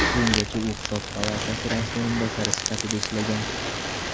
Bungacha u Hisob palatasi raisi o‘rinbosari sifatida ishlagan.